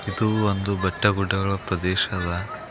ಇದು ಒಂದು ಬೆಟ್ಟ ಗುಡ್ಡಗಳ ಪ್ರದೇಶ ಅದ.